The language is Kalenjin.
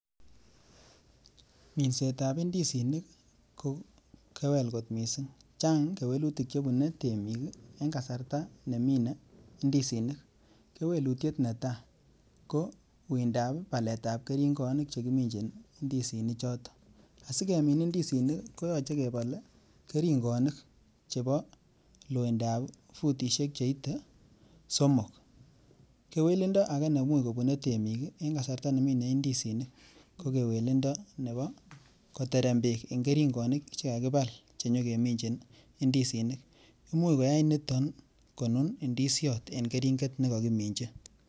Minsetab ndisinik ko kewel kot mising, chang kewelutik che bune temik eng kasarta nemine ndisinik, kewelutiet ne tai ko uindab baletab keringonik che kiminjin ndisinichoto, asi kemin ndisinik koyoche kebol ii keringonik chebo loindab futisiek cheite somok, kewelindo ake nemuch kobune temik ii eng kasarta nemine ndisinik ko kewelindo nebo koterem beek eng keringonik che kakibal cho nyekeminji ndisinik, imuch koyai niton konun ndisiot en keringet ne kakiminji.